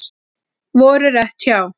Voru rétt hjá